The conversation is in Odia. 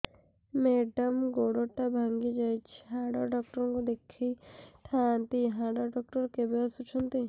ମେଡ଼ାମ ଗୋଡ ଟା ଭାଙ୍ଗି ଯାଇଛି ହାଡ ଡକ୍ଟର ଙ୍କୁ ଦେଖାଇ ଥାଆନ୍ତି ହାଡ ଡକ୍ଟର କେବେ ଆସୁଛନ୍ତି